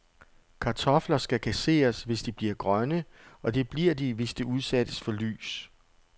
Kartofler skal kasseres, hvis de bliver grønne, og det bliver de, hvis de udsættes for lys.